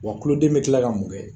Wa tuloden bɛ tila ka mun kɛ?